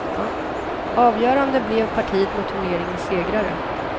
Avgörande blev partiet mot turneringens segrare.